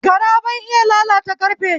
Gara bai iya lalata karfe